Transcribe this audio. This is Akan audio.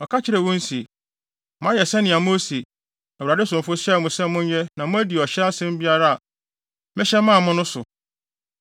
Ɔka kyerɛɛ wɔn se, “Moayɛ sɛnea Mose, Awurade somfo hyɛɛ mo sɛ monyɛ no na moadi ɔhyɛ asɛm biara a mehyɛ maa mo no so.